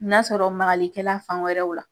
N'a sɔrɔ makali kɛla fan wɛrɛw la